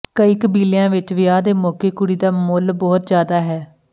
ਕਈ ਕਬੀਲਿਆਂ ਵਿੱਚ ਵਿਆਹ ਦੇ ਮੌਕੇ ਕੁੜੀ ਦਾ ਮੁੱਲ ਬਹੁਤ ਜ਼ਿਆਦਾ ਹੈ